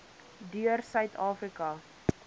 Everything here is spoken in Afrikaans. deur suid afrika